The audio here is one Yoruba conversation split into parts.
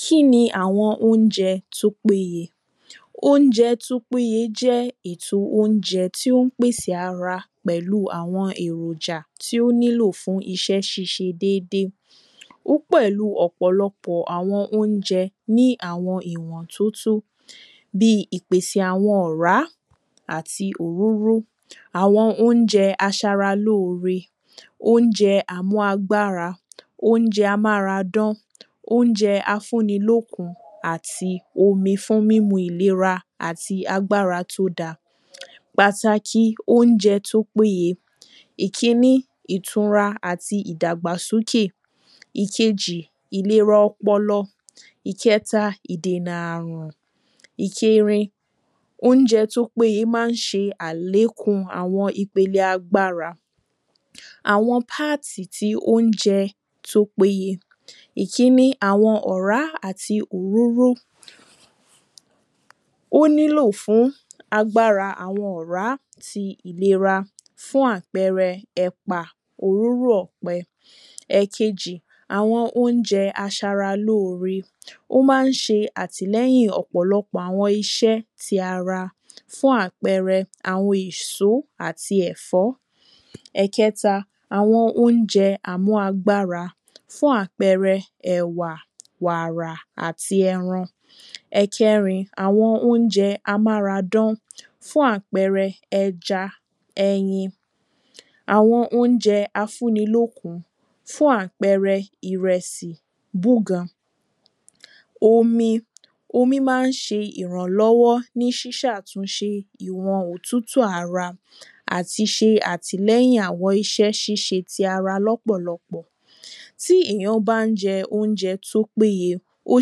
kí ni óunjẹ tó pé ye óunjẹ tó pé ye jẹ́ èto óunjẹ tí ó ń pèsè ara pẹ̀lú àwọn èròjà tí ó nílò fún iṣẹ́ ṣíṣe dédé ó pẹ̀lú ọ̀pọ̀lọpọ̀ àwọn óunjẹ ní àwọn ọ̀nà tó tó bíi ìpèsè àwọn ọ̀rá àti òróró àwọn óunjẹ aṣaralóore óunjẹ amú agbára óunjẹ a mára dán óunjẹ afúnilókun àti omi fún mímu ìlera àti agbára tó da pàtàkì óunjẹ tó dára ìkiní ìtura àti ìdàgbàsókè ìkejì ìlera ọpọlọ ìkẹta ìdènà àrùn ìkerin óunjẹ tó pé ye má ń ṣe àlékún àwọn ìpele agbára àwọn páàtì ti óunjẹ tó pé ye ìkiní àwọn ọ̀rá àti òróró ó ní lò fún agbára àwọn ọ̀rá tí ìlera fún àpẹẹrẹ ẹ̀pà òróró ọ̀pẹ ẹ̀kejì àwọn óunje aṣaralóore ó má ń ṣe àtìlẹ́yìn ọ̀pọ̀lọpọ̀ àwọn iṣẹ́ ti ara fún àpẹẹrẹ àwọn ìsó àti ẹ̀fọ́ ẹ̀kẹta àwọn óunjẹ àmú agbára fún àpẹẹrẹ wàrà àti ẹran ẹ̀kẹrin àwọn óunjẹ amáradán fún àpẹẹrẹ ẹja ẹyin àwọn óunjẹ afúnilókun fún àpẹẹrẹ ìrẹsì búgan omi omi má ń ṣe ìrànlọ́wọ́ ní ṣiṣàtúnṣe ìwọn òtítù ara àti ṣe àtìlẹ́yìn àwọn iṣẹ́ ṣíṣe tí ara lọ́pọ̀lọpọ̀ tí ìyàn bá ń jẹ óunjẹ tó pé ye ó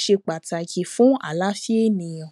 ṣe pàtàkì fún àláfíà ènìyàn